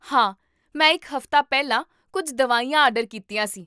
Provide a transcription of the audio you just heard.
ਹਾਂ, ਮੈਂ ਇੱਕ ਹਫ਼ਤਾ ਪਹਿਲਾਂ ਕੁੱਝ ਦਵਾਈਆਂ ਆਰਡਰ ਕੀਤੀਆਂ ਸੀ